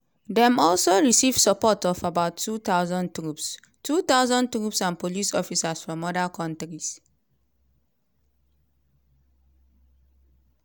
dem also receive support of about 2000 troops 2000 troops and police officers from oda kontris.